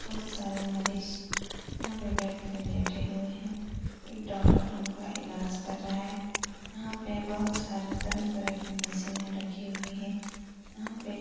बोहोत सारे मरीज़ यहाँ पे बेड पे लेटे हुए हैं। एक डॉक्टर उनका इलाज कर रहा है। यहाँ पे बोहोत सारे तरह-तरह की मशीने रखी हुई है। यहाँ पे --